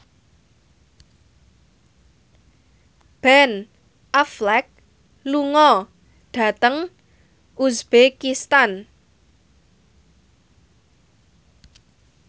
Ben Affleck lunga dhateng uzbekistan